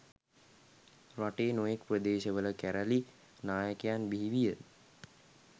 රටේ නොයෙක් ප්‍රදේශවල කැරැලි නායකයන් බිහි විය.